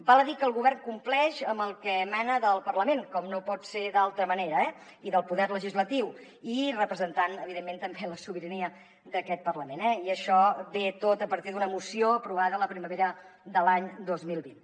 val a dir que el govern compleix amb el que emana del parlament com no pot ser d’altra manera i del poder legislatiu i representant evidentment també la sobirania d’aquest parlament eh i això ve tot a partir d’una moció aprovada la primavera de l’any dos mil vint